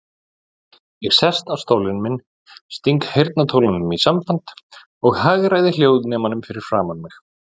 Ég sest á stólinn minn, sting heyrnartólunum í sambandi og hagræði hljóðnemanum fyrir framan mig.